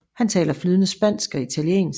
Han taler flydende spansk og italiensk